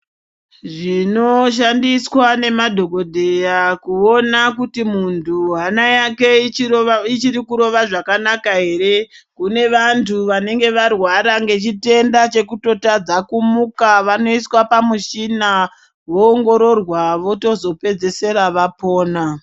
Zvinoshandiswa ngemadhokodheya kuona kuti muntu hana yaje ichiri kurova zvakanaka ere kune vantu vanenge varwara ngechitenda chekutotadza kumuka vanoiswa pauchina vaongororwa votozopedzisira vapona.